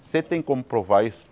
Você tem como provar isso?